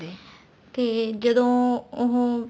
ਤੇ ਜਦੋਂ ਉਹ